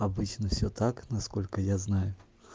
обычно все так насколько я знаю